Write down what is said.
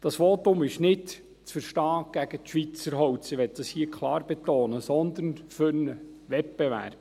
Das Votum ist nicht gegen Schweizer Holz zu verstehen – das möchte ich hier klar betonen –, sondern für einen Wettbewerb.